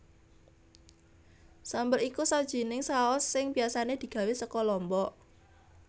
Sambel iku sawijining saus sing biasané digawé saka lombok